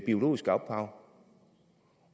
biologiske ophav